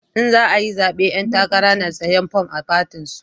In za ayi zabe 'yan takara na siyan form a fatin su